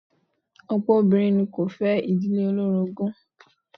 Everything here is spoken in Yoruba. Ọ̀pọ̀ obìnrin kò fẹ́ ìdílé olórogún.